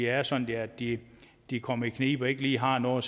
er sådan at de de kommer i knibe og ikke lige har noget